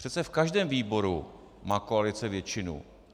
Přece v každém výboru má koalice většinu.